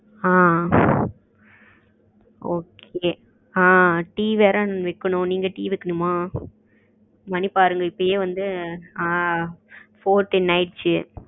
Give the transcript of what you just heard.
ஆ ok tea வேற வைக்கணும் நீங்க டி வைக்கணுமா? மணி பாருங்க இப்பயே வந்து ஆ four ten ஆகிடுச்சு